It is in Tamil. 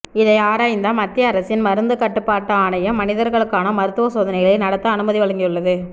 இதை ஆராய்ந்த மத்திய அரசின் மருந்து கட்டுப்பாட்டு ஆணையம் மனிதர்களுக்கான மருத்துவ சோதனைகளை நடத்த அனுமதி வழங்கியுள்ளது